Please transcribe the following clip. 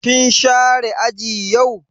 Kin share aji yau?